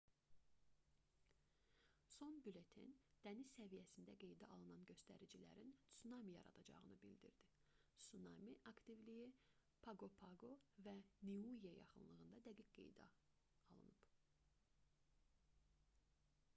son bülleten dəniz səviyyəsində qeydə alınan göstəricilərin tsunami yaradacağını bildirdi sunami aktivliyi paqo-paqo və niue yaxınlığında dəqiq qeydə alınıb